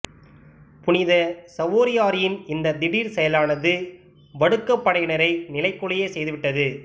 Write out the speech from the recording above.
புனித சவோரியாரின் இந்த திடீர் செயலானது வடுகப்படையினரை நிலைகுலையைச் செய்துவிட்டது